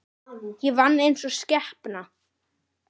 Ég vann einsog skepna.